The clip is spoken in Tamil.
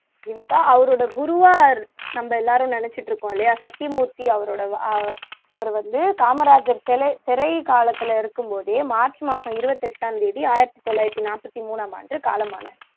ஜீவிதா அவரோட குருவா நம்ம எல்லோரும் நினச்சுட்டு இருக்கோம் இல்லையா சத்தியமூர்த்தி அவரோட அவர் வந்து காமராஜர் சிறை காலத்துல இருக்கும்போதே இதே மார்ச் மாசம் இருப்பத்து எட்டாம் தேதி ஆயிரத்து தொள்ளாயிரத்து நாற்பத்து மூன்றாம் ஆண்டு காலமானார்